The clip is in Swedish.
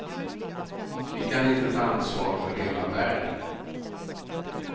Vi kan inte ta ansvar för hela världen.